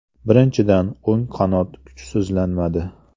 Birinchidan, o‘ng qanot kuchsizlanmadi.